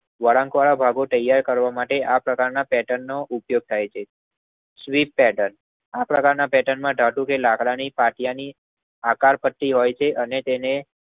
વળાંક વાળા ભાગો તૈયાર કરવામાં આ પ્રકારના પેટનનો ઉપયોગ થાય છે. સ્વીટ પેર્ટન આ પ્રકારના પેર્ટન માં ધાતુ કે લાકડાની પાટિયાંની આકાર પત્તી રહે છે અને તેને